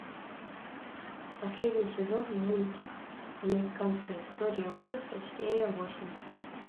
последний сезон мультик американская история ужасов серия восемь